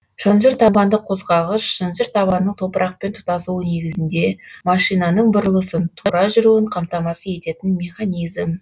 шынжыр табанды қозғағыш шынжыр табанның топырақпен тұтасуы негізінде машинаның бұрылысын тура жүруін қамтамасыз ететін механизм